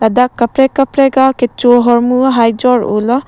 dak kaprek kaprek kecho hormu hai jor oh lo.